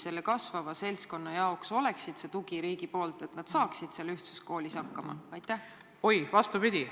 Milline on riigi tugi sellele kasvavale seltskonnale, et nad saaksid ühtsuskoolis hakkama?